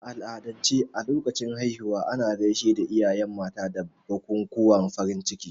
A al'adance a lokacin haihuwa, ana gaishe da iyaye mata da bukukuwan farin ciki.